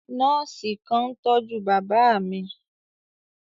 Nọọsi kan n tọju baba mi.